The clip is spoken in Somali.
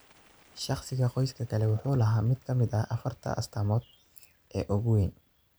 Shakhsiga qoyska kale wuxuu lahaa mid ka mid ah afarta-ta astaamood ee ugu waaweyn.